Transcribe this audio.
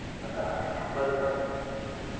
அதான் அம்பது percent